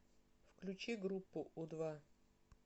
включи группу у два